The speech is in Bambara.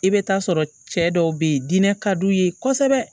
I bɛ taa sɔrɔ cɛ dɔw bɛ yen diinɛ ka d'u ye kosɛbɛ